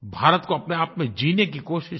भारत को अपने आप में जीने की कोशिश की